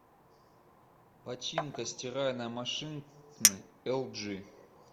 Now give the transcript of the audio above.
починка стиральной машины эл джи